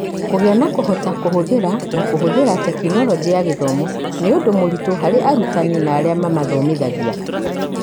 Kũgĩa na, kũhota kũhũthĩra na kũhũthĩra Tekinoronjĩ ya Gĩthomo nĩ ũndũ mũritũ harĩ arutani na arĩa mamathomithagia.